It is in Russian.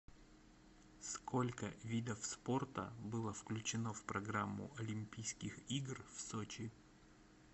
сколько видов спорта было включено в программу олимпийских игр в сочи